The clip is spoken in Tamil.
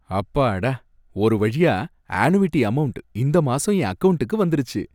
அப்பாடா! ஒருவழியா ஆணுவிட்டி அமவுண்ட் இந்த மாசம் என் அகவுன்டுக்கு வந்துருச்சு.